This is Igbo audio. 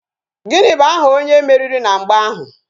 Gịnị bụ aha onye meriri na mgba ahụ?